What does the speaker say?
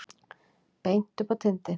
Beint upp á tindinn.